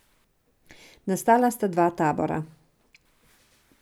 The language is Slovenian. Nastala sta dva tabora.